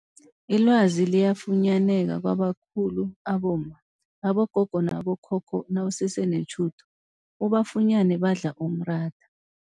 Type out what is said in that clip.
Ilwazi liyafunyaneka kwabakhulu abomma, abogogo nabokhokho nawusese netjhudu ubafunyene badla umratha.